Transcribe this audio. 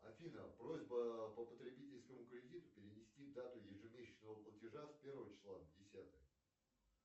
афина просьба по потребительскому кредиту перенести дату ежемесячного платаже с первого числа на десятое